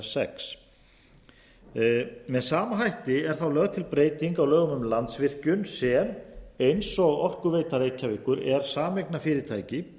er sjötti með sama hætti er lögð til breyting á lögum um landsvirkjun sem eins og orkuveita reykjavíkur er sameignarfyrirtæki